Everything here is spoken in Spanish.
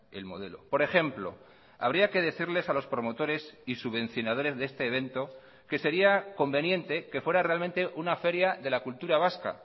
el modelo por ejemplo habría que decirles a los promotores y subvencionadores de este evento que sería conveniente que fuera realmente una feria de la cultura vasca